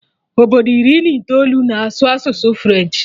Obodo iri na itoolu na-asụ asụsụ French